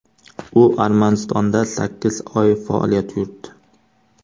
U Armanistonda sakkiz oy faoliyat yuritdi.